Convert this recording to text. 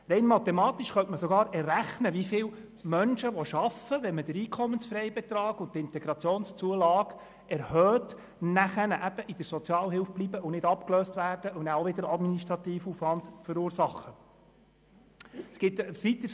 Rein mathematisch könnte man sogar errechnen, wie viele arbeitenden Menschen nicht abgelöst werden und in der Sozialhilfe bleiben, und nachher auch wieder administrativen Aufwand verursachen, wenn man den Einkommensfreibetrag und die Integrationszulage erhöht.